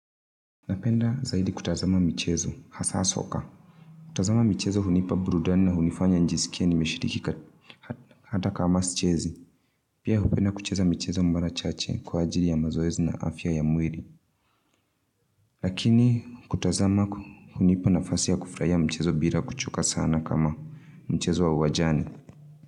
Napenda zaidi kutazama michezo hasa socker kutazama michezo hunipa burudani na hunifanya njisikie nimeshirikika hata kama sichezi. Pia hupenda kucheza michezo mara chache kwa ajili ya mazoezi na afya ya mwili. Lakini kutazama hunipa nafasi ya kufurahia michezo bila kuchoka sana kama mchezo wa uwanjani.